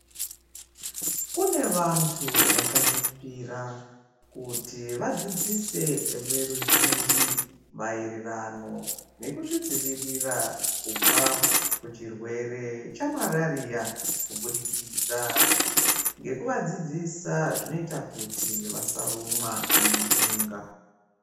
Kune vantu vakazvipira kuti vadzidzise veruzhinji maererano nekuzvidzivirira kubva muchirwere chemararia kubudikidza ngekuvadzidzisa zvinoita kuti vasarumwa ngentunga .